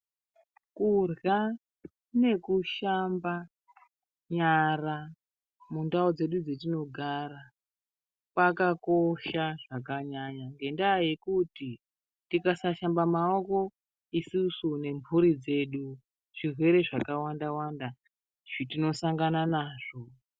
Kurya nekushamba nyara, mundau dzedu dzatinogara, kwakakosha zvakanyanya, ngendaa yekuti tikasashamba maoko, isusu nemphuri dzedu, zvirwere zvakawanda -wanda zvi tinosangana nazvo.